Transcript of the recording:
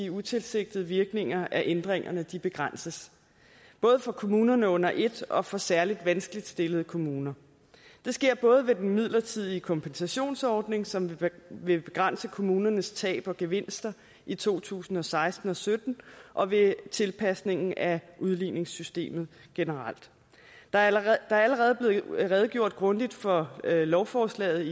utilsigtede virkninger af ændringerne begrænses både for kommunerne under et og for særlig vanskeligt stillede kommuner det sker både i den midlertidige kompensationsordning som vil begrænse kommunernes tab og gevinster i to tusind og seksten og sytten og ved tilpasning af udligningssystemet generelt der er allerede blevet redegjort grundigt for lovforslaget